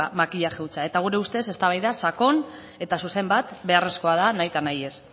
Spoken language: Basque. makilaje hutsa eta gure ustez eztabaida sakon eta zuzen bat beharrezkoa da nahita nahiez